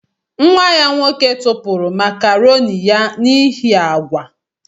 Nwa ya nwoke tụpụrụ makaroni ya n'ihi agwa.